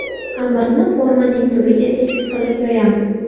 Xamirni formaning tubiga tekis qilib yoyamiz.